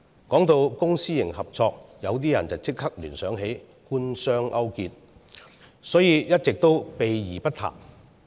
談到公私營合作，有些人會立即聯想到官商勾結，所以一直也避而不談。